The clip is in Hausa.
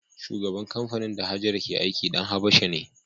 Shugaban kamfanin da Hajara ke aiki ɗan Habasha ne.